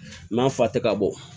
N ma fa tɛ ka bɔ